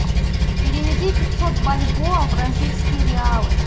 переведи пятьсот бальбоа в бразильские реалы